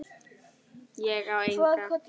Ég á enga.